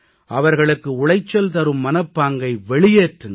அவர்களுக்கு உளைச்சல் தரும் மனப்பாங்கை வெளியேற்றுங்கள்